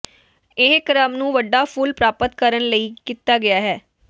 ਇਹ ਕ੍ਰਮ ਨੂੰ ਵੱਡਾ ਫੁੱਲ ਪ੍ਰਾਪਤ ਕਰਨ ਲਈ ਕੀਤਾ ਗਿਆ ਹੈ